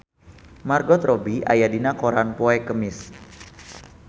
Margot Robbie aya dina koran poe Kemis